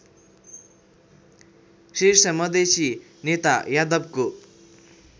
शीर्षमधेसी नेता यादवको